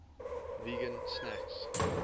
vegan snacks